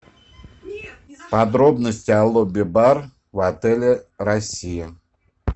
подробности о лобби бар в отеле россия